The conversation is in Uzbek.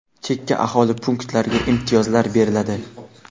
chekka aholi punktlariga imtiyozlar beriladi.